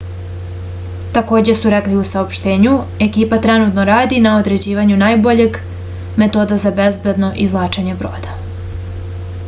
takođe su rekli u saopštenju ekipa trenutno radi na određivanju najboljeg metoda za bezbedno izvlačenje broda